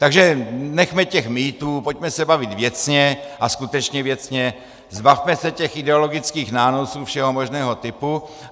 Takže nechme těch mýtů, pojďme se bavit věcně a skutečně věcně, zbavme se těch ideologických nánosů všeho možného typu.